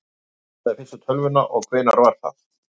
hver smíðaði fyrstu tölvuna og hvenær var það